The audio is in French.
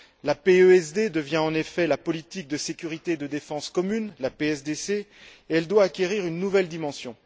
La PESD devient en effet la politique de sécurité et de défense commune, la PSDC, et elle doit acquérir une nouvelle dimension.